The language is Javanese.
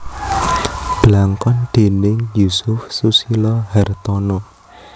Blangkon déning Yusuf Susilo Hartono